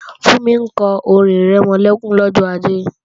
Fúnmi kọ orin-ìrẹmọlẹ́kún lọ́jọ́ Ajé